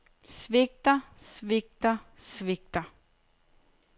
svigter svigter svigter